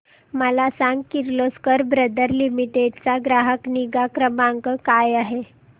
मला सांग Kirloskar brother limited चा ग्राहक निगा क्रमांक काय आहे